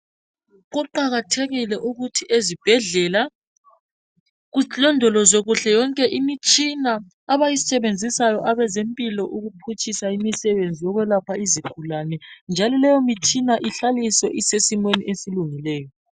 Kuqakathekile ukuthi ezibhedlela kulondolozwe kuhle yonke imitshina abayisebenzisayo abazempilo ukuphutshisa imisebenzi yokwelapha izigulane njalo leyo mitshina ihlaliswe isesimweni esilungileyo.